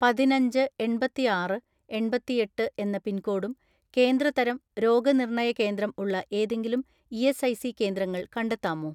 " പതിനഞ്ച് എണ്‍പത്തിആറ് എണ്‍പത്തിഎട്ട് എന്ന പിൻകോഡും കേന്ദ്ര തരം രോഗനിർണയ കേന്ദ്രം ഉള്ള ഏതെങ്കിലും ഇ.എസ്.ഐ.സി കേന്ദ്രങ്ങൾ കണ്ടെത്താമോ?"